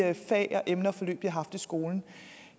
fag og emneforløb de havde haft i skolen